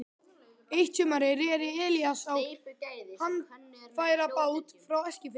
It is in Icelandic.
Eitt sumarið reri Elías á handfærabát frá Eskifirði.